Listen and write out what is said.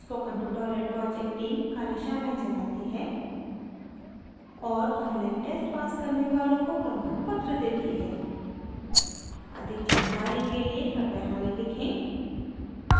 spoken tutorial project team कार्यशालाएं चलाती है और online tests पास करने वालों को प्रमाणपत्र देती है अधिक जानकारी के लिए कृपया हमें लिखें